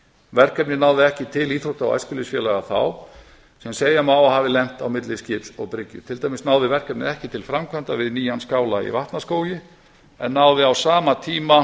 verkefnið náði ekki til íþrótta og æskulýðsfélaga þá sem segja má að hafi lent á milli skips og bryggju á náði verkefnið ekki til framkvæmda við nýjan skála í vatnaskógi en náði á sama tíma